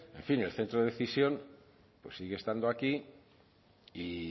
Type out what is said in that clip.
en fin el centro de decisión pues sigue estando aquí y